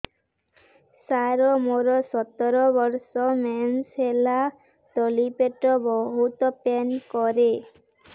ସାର ମୋର ସତର ବର୍ଷ ମେନ୍ସେସ ହେଲେ ତଳି ପେଟ ବହୁତ ପେନ୍ କରେ